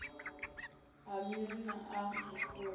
a miri na a zwifuwo